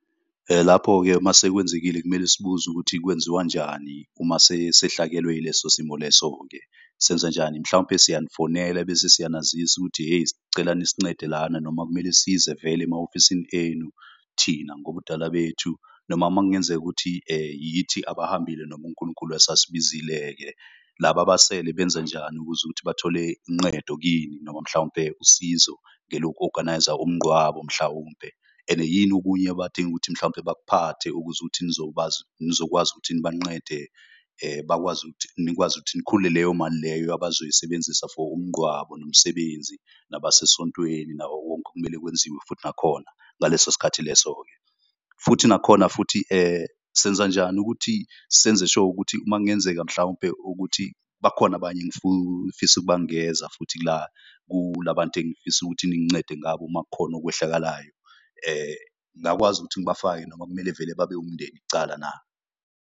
Lapho-ke masekwenzekile kumele sibuze ukuthi kwenziwanjani uma sehlakelwe ileso simo leso-ke. Senza njani mhlawumpe siyanifonela ebese siyanazisa ukuthi, eyi cela nisincede lana. Noma kumele size vele ema-ofisini enu thina ngobudala bethu, noma uma kungenzeka ukuthi yithi abahambile noma uNkulunkulu esasibizile-ke. Laba abasele benzanjani ukuze ukuthi bathole inqedo kini noma mhlawumpe usizo eloku-organise-a umnqwabo mhlawumpe. And yini okunye abadinga ukuthi mhlawumpe bakuphathele ukuze ukuthi nizokwazi ukuthi nibanqede. Nikwazi ukuthi nikhule leyo mali leyo abazoyisebenzisa for umnqwabo, nomsebenzi, nabasesontweni nawo wonke okumele kwenziwe. Futhi nakhona ngaleso sikhathi leso-ke, futhi nakhona futhi senza njani ukuthi senze sure ukuthi. Uma kungenzeka mhlawumpe ukuthi bakhona abanye engifisa ukubangeza futhi kula bantu engifisa ukuthi ningincede ngabo uma kukhona okwehlakalayo. Ngakwazi ukuthi ngibafake noma kumele vele babe umndeni kucala na?